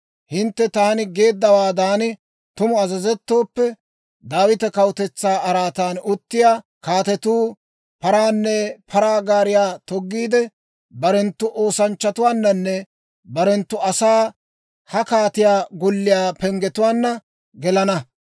Hintte taani geeddawaadan tumu azazettooppe, Daawita kawutetsaa araatan uttiyaa kaatetuu paraanne paraa gaariyaa toggiide, barenttu oosanchchatuwaananne barenttu asaana ha kaatiyaa golliyaa penggetuwaanna gelana.